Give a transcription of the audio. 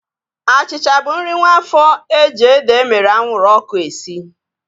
Achịcha bụ nri nwaafo eji ede emere anwụrụ ọkụ esi